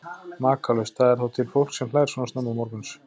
Makalaust, það er þá til fólk sem hlær svona snemma morguns.